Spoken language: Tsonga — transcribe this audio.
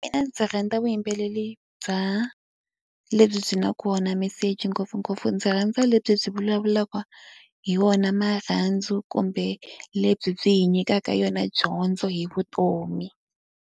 Mina ndzi rhandza vuyimbeleri bya lebyi byi na kona meseji ngopfungopfu ndzi rhandza lebyi byi vulavulaka hi wona marhandzu, kumbe lebyi byi hi nyikaka yona dyondzo hi vutomi.